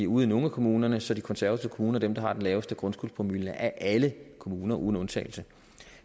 ude i nogle af kommunerne så de konservative kommuner er dem der har den laveste grundskyldspromille af alle kommuner uden undtagelse